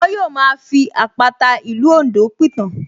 Wọ́n yóò máa fi àpàta ìlú Oǹdó pìtàn